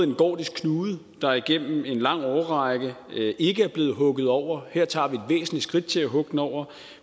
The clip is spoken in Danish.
en gordisk knude der igennem en lang årrække ikke er blevet hugget over her tager væsentligt skridt til at hugge den over